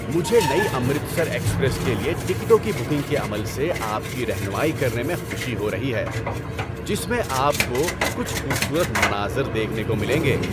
‏مجھے نئی امرتسر ایکسپریس کے لیے ٹکٹوں کی بکنگ کے عمل سے آپ کی رہنمائی کرنے میں خوشی ہو رہی ہے جس میں آپ کو کچھ خوبصورت مناظر دیکھنے کو ملیں گے۔